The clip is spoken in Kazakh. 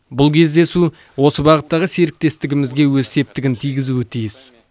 бұл кездесу осы бағыттағы серіктестігімізге өз септігін тигізуі тиіс